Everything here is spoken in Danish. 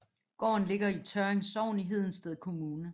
Gården ligger i Tørring Sogn i Hedensted Kommune